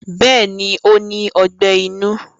Bẹ́ẹ̀ni ó ní Ọgbẹ́ inú